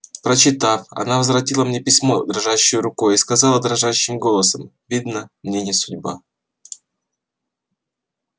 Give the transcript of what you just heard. прочитав она возвратила мне письмо дрожащею рукою и сказала дрожащим голосом видно мне не судьба